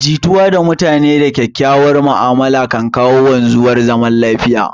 Jituwa da mutane da kyakkyauwar ma'amala kan kawo wanzuwar zaman lafiya